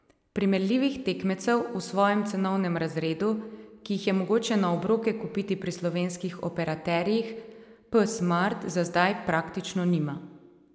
Primerljivih tekmecev v svojem cenovnem razredu, ki jih je mogoče na obroke kupiti pri slovenskih operaterjih, P Smart za zdaj praktično nima.